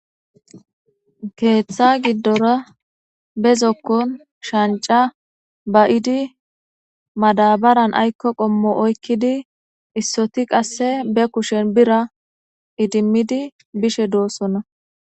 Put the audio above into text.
keeththa giddora be zokkon shanca ba7idi madabaran aykko qommo oykkidi issoti qasse be kushen bira idimmidi bishe doossonna